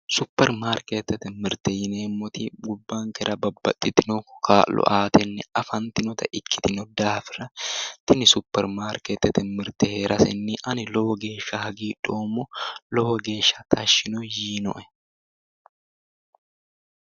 Supermarketete mirte yineemmoti gobbankera babbaxxitino kaa'lo aatenni afantinota ikkitino daafira tini supermarkete mirte heerasenni ani lowo geeshsha hagiidhoommo lowo geeshsha tashshi yiinoe